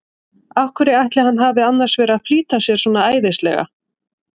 Af hverju ætli hann hafi annars verið að flýta sér svona æðislega!